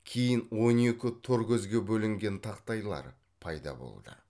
кейін он екі торкөзге бөлінген тақтайлар пайда болды